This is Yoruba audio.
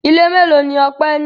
Ilé mélòó ni Ọpẹ́ ní?